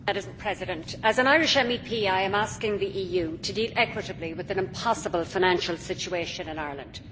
Madam President, as an Irish MEP I am asking the EU to deal equitably with an impossible financial situation in Ireland.